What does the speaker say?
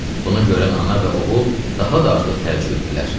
Bunu görən ana və oğul daha da artıq təəccüb etdilər.